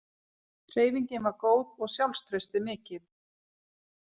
Hreyfingin var góð og sjálfstraustið mikið.